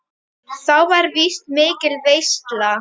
Þá var víst mikil veisla.